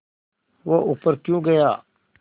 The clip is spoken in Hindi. वह ऊपर क्यों गया